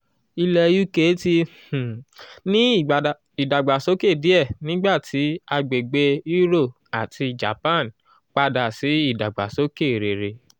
ilẹ̀ uk ti um ní ìdàgbàsókè díẹ̀ nígbà tí àgbègbè euro àti japan padà sí ìdàgbàsókè rere.